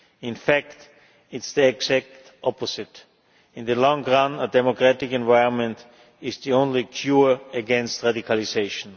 In fact it is the exact opposite in the long run, a democratic environment is the only cure for radicalisation.